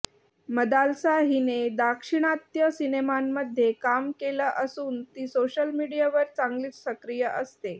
मदालसा हिने दाक्षिणात्य सिनेमांमध्ये काम केलं असून ती सोशल मीडियावर चांगलीच सक्रीय असते